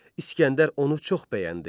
İsgəndər onu çox bəyəndi.